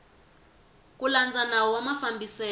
ku landza nawu wa mafambiselo